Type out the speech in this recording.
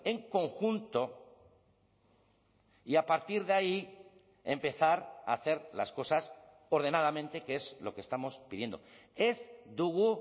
en conjunto y a partir de ahí empezar a hacer las cosas ordenadamente que es lo que estamos pidiendo ez dugu